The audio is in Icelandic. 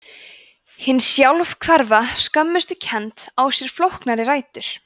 hin sjálfhverfa skömmustukennd á sér flóknari rætur